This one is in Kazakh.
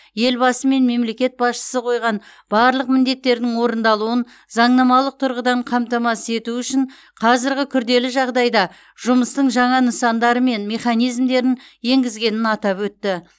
елбасы мен мемлекет басшысы қойған барлық міндеттердің орындалуын заңнамалық тұрғыдан қамтамасыз ету үшін қазіргі күрделі жағдайда жұмыстың жаңа нысандары мен механизмдерін енгізгенін атап өтті